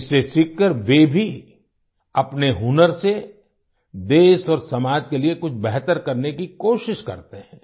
इससे सीखकर वे भी अपने हुनर से देश और समाज के लिए कुछ बेहतर करने की कोशिश करते हैं